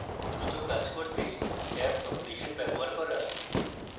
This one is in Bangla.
দ্রুত কাজ করতে tabcompletion ব্যবহার করা